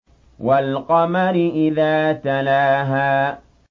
وَالْقَمَرِ إِذَا تَلَاهَا